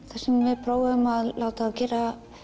við prófuðum að láta þá gera